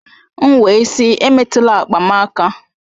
M wee sị emetụla akpa m aka!